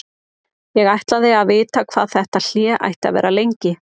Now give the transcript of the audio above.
Ég ætlaði að vita hvað þetta hlé ætti að vera lengi.